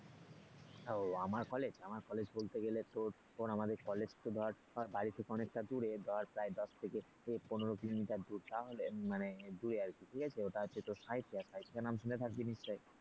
ও আমার কলেজ আমার কলেজ বলতে গেলে তোর আমাদের কলেজ তো ধর বাড়িতে কোন অনেকটা দূরে ধর প্রায় দশ থেকে পনেরো কিলোমিটার দূর তাহলে আমাদের মানে দূরে আর কি, ঠিক আছে ওইটা মানে সাঁইথিয়া নাম শুনে থাকবেন নিশ্চয়ই?